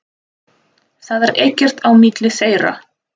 Það er ekkert á milli þeirra.